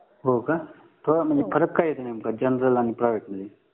हो का थोडा म्हणजे फरक काय येतो नेमका जनरल आणि प्रायव्हेट मध्ये